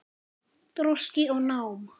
Þroski og nám